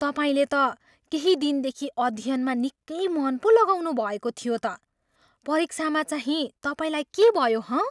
तपाईँले त केही दिनदेखि अध्ययनमा निकै मन पो लगाउनु भएको थियो त। परीक्षामा चाहिँ तपाईँलाई के भयो, हँ?